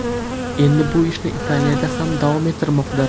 Endi bu ishni Italiyada ham davom ettirmoqda.